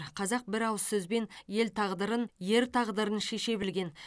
қазақ бір ауыз сөзбен ел тағдырын ер тағдырын шеше білген